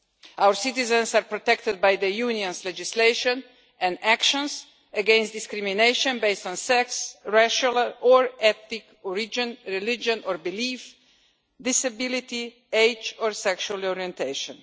Our citizens are protected by the Union's legislation and actions against discrimination based on sex, racial or ethnic group, religion or belief, disability, age or sexual orientation.